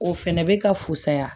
O fɛnɛ bɛ ka fusaya